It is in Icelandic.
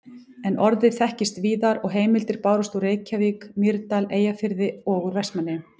En orðið þekktist víðar og heimildir bárust úr Reykjavík, Mýrdal, Eyjafirði og úr Vestmannaeyjum.